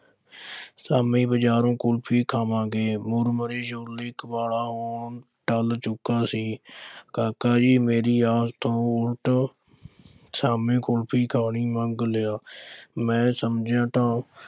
ਸ਼ਾਮੀ ਬਾਜ਼ਾਰੋਂ ਕੁੁਲਫ਼ੀ, ਖਾਵਾਂਗੇ ਮੁਰਮੁਰਾ ਛੋਲੇ ਵਾਲਾ ਹੁਣ ਟਲ ਚੁੱਕਾ ਸੀ ਕਾਕਾ ਵੀ ਮੇਰੀ ਆਸ ਤੋਂ ਉਲਟ ਸ਼ਾਮੀਂ ਕੁਲਫ਼ੀ ਖਾਣੀ ਮੰਗ ਲਿਆ ਮੈਂ ਸਮਝਿਆ ਤਾਂ